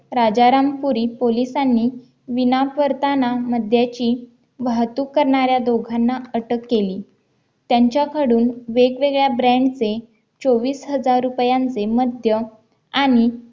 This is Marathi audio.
राजारामपुरी पोलिसांनी विनाकारताना मध्याची वाहतूक करणाऱ्या दोघांना अटक केली त्यांच्याकडून वेगवेगळ्या ब्रँडचे चौव्वीस हजार रुपयांचे मध्य आण